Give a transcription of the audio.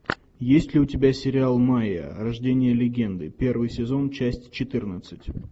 есть ли у тебя сериал майя рождение легенды первый сезон часть четырнадцать